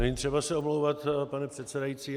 Není třeba se omlouvat, pane předsedající.